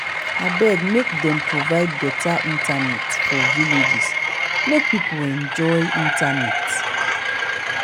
abeg make dem provide beta internet for villages make people enjoy internet.